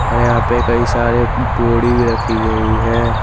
और यहां पे कई सारे बोड़ी भी रखी गई है।